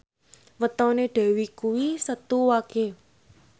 wetone Dewi kuwi Setu Wage